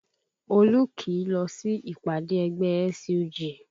Olú kìí lọ sí ìpàdé ẹgbẹ́ SUG